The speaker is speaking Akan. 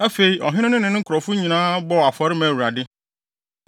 Afei, ɔhene no ne ne nkurɔfo no nyinaa bɔɔ afɔre maa Awurade.